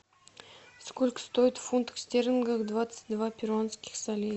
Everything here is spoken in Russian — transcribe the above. сколько стоит в фунтах стерлингов двадцать два перуанских солей